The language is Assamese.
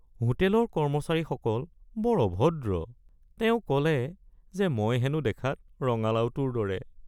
হোটেলৰ কৰ্মচাৰীসকল বৰ অভদ্ৰ। তেওঁ ক’লে যে মই হেনো দেখাত ৰঙালাওটোৰ দৰে।